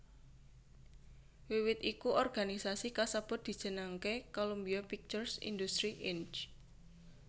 Wiwit iku organisasi kasebut dijenengké Columbia Pictures Industries Inc